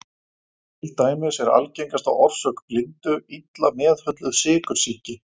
Til dæmis er algengasta orsök blindu illa meðhöndluð sykursýki.